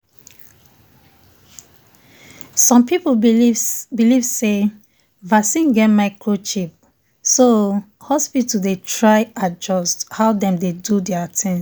some people believe um say vaccine get microchip so um hospitals dey try adjust um how dem dey do their things.